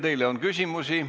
Teile on küsimusi.